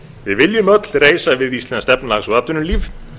við viljum öll reisa við íslenskt efnahags og atvinnulíf